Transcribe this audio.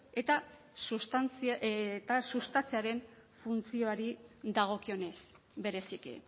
eta sustatzearen funtzioari dagokionez bereziki